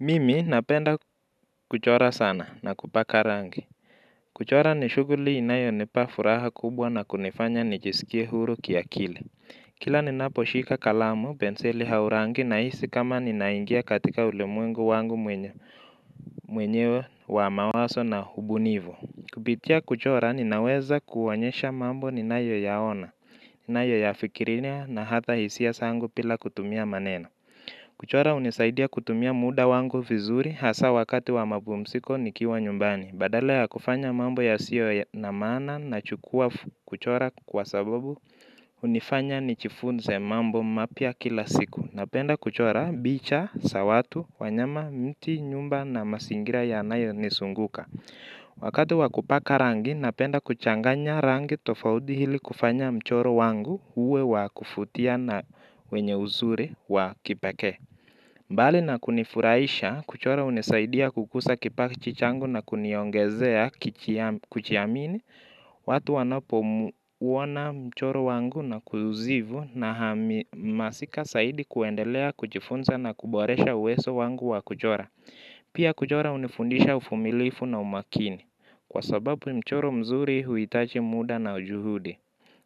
Mimi napenda kuchora sana na kupaka rangi kuchora ni shuguli inayo nipa furaha kubwa na kunifanya nijisikie huru kiakili. Kila ninaposhika kalamu benseli hau rangi na hisi kama ninaingia katika ulemwengu wangu mwenyewe wa mawaso na ubunivu kupitia kuchora ninaweza kuonyesha mambo ninayoyaona nayoifikiria na ata hisia sangu bila maneno. Kuchora unisaidia kutumia muda wangu vizuri hasa wakati wamapumsiko nikiwa nyumbani badala la kufanya mambo ya siyo na mana na chukua kuchora kwa sababu unifanya nichifunze mambo mapya kila siku. Napenda kuchora bicha, sawatu, wanyama, mti, nyumba na masingira yanayo nisunguka. Wakati wakupaka rangi napenda kuchanganya rangi tofaudi hili kufanya mchoro wangu uwe wa kufutia na wenye uzuri wa kipeke. Mbali na kunifuraisha kuchora unisaidia kukusa kipachi changu na kuniongezea kuchiamini. Watu wanapo wuona mchoro wangu na kuzivu. Naamasika saidi kuendelea kuchifunza na kuboresha uwezo wangu wa kuchora pia kuchora unifundisha ufumilifu na umakini kwa sababu mchoro mzuri huitaji muda na juhudi.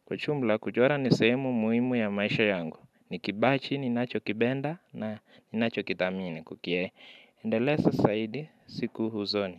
Kuchumbla kujora nisehemu muimu ya maisha yangu, ni kibachi ni nacho kibenda na ni nacho kitamine kukie, endelesa saidi siku huzoni.